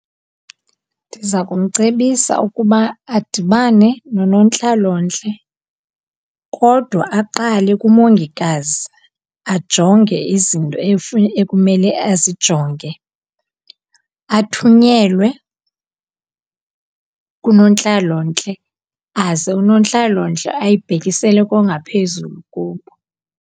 Ndiza kumcebisa ukuba adibane nonontlalontle kodwa aqale kumongikazi, ajonge izinto ekumele azijonge. Athunyelwe kunontlalontle, aze unontlalontle ayibhekisele kongaphezulu kubo.